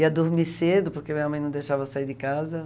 Ia dormir cedo, porque minha mãe não deixava eu sair de casa.